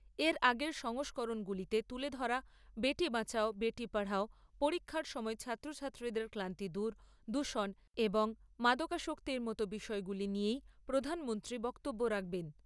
এর আগের সংস্করণগুলিতে তুলে ধরা বেটি বাঁচাও, বেটি পড়াও, পরীক্ষার সময়ে ছাত্রছাত্রীদের ক্লান্তি দূর, দূষণ, এবং মাদকাশক্তির মত বিষয়গুলি নিয়েই প্রধানমন্ত্রী বক্তব্য রাখবেন।